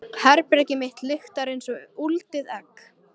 Herbergið mitt lyktar einsog úldið egg.